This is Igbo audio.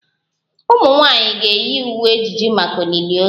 Ụmụ nwanyị ga-eyi uwe ejiji maka olili ozu